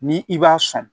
Ni i b'a sɔn